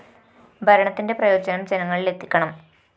ഭരണത്തിന്റെ പ്രയോജനം ജനങ്ങളില്‍ എത്തിക്കണം